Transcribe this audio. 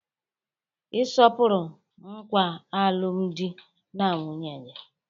Ị sọpụrụ nkwa alụmdi na nwunye gị.